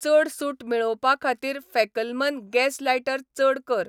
चड सूट मेळोवपाखातीर फॅकलमन गॅस लायटर चड कर.